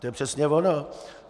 To je přesně ono!